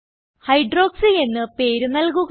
hydroxy എന്ന് പേര് നൽകുക